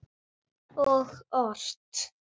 Og ort.